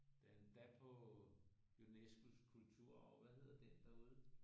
Den er endda på Unescos kulturarv hvad hedder den derude